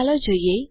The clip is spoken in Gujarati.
ચાલો જોઈએ